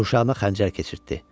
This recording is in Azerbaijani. Qurşağına xəncər keçirtdi.